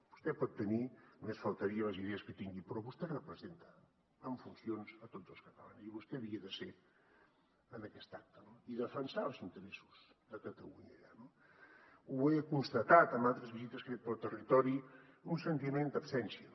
vostè pot tenir només faltaria les idees que tingui però vostè representa en funcions a tots els catalans i vostè havia de ser en aquest acte i defensar els interessos de catalunya allà no ho he constatat en altres visites que he fet pel territori un sentiment d’absència